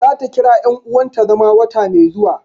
Za ta kira yan uwanta zama wata mai zuwa